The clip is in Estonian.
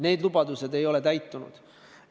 Need lubadused ei ole täitunud.